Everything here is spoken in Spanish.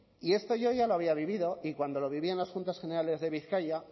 y esto yo ya lo había vivido y cuando lo viví en las juntas generales de bizkaia